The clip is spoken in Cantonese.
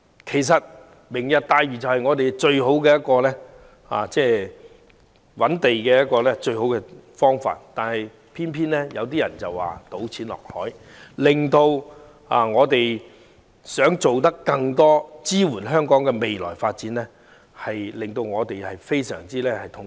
其實"明日大嶼"正是我們最佳的覓地方法，但偏偏有人說這是"倒錢落海"，令我們這些想做更多事情支援香港未來發展的人非常痛心。